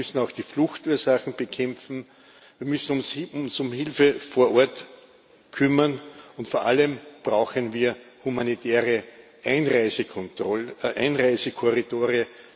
Wir müssen auch die Fluchtursachen bekämpfen, wir müssen uns um Hilfe vor Ort kümmern, und vor allem brauchen wir humanitäre Einreisekorridore.